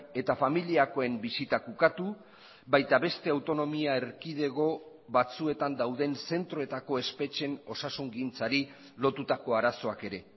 eta familiakoen bisitak ukatu baita beste autonomia erkidego batzuetan dauden zentroetako espetxeen osasungintzari lotutako arazoak ere